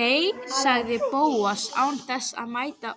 Nei- sagði Bóas án þess að mæta